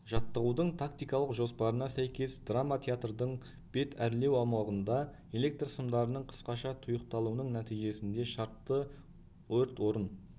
жаттығудың тактикалық жоспарына сәйкес драма театрдың бет әрлеу аумағындағы электрсымдарының қысқаша тұйықталуының нәтижесінде шартты өрт орын